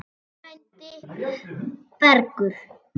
Þinn frændi Bergur.